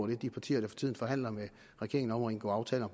de partier der for tiden forhandler med regeringen om at indgå aftaler